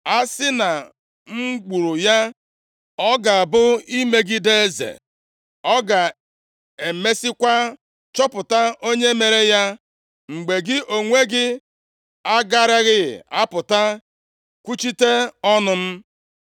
A sị na m gburu ya, ọ ga-abụ imegide eze. Ọ ga-emesiekwa chọpụta onye mere ya. Ma gị onwe gị agaraghị apụta kwuchite ọnụ m.”